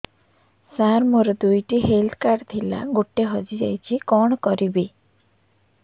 ସାର ମୋର ଦୁଇ ଟି ହେଲ୍ଥ କାର୍ଡ ଥିଲା ଗୋଟେ ହଜିଯାଇଛି କଣ କରିବି